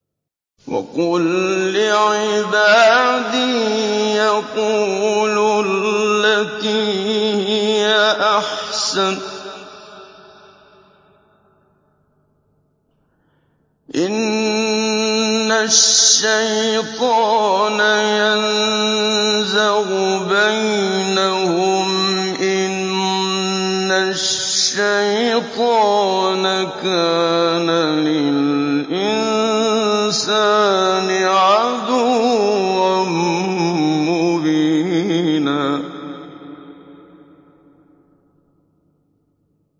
وَقُل لِّعِبَادِي يَقُولُوا الَّتِي هِيَ أَحْسَنُ ۚ إِنَّ الشَّيْطَانَ يَنزَغُ بَيْنَهُمْ ۚ إِنَّ الشَّيْطَانَ كَانَ لِلْإِنسَانِ عَدُوًّا مُّبِينًا